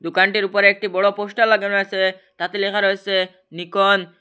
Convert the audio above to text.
দোকানটির ওপরে একটি বড়ো পোস্টার লাগানো আছে তাতে লেখা রয়েছে নিকন ।